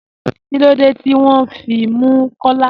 Kílódé tí wọn fí mú Kọ́là?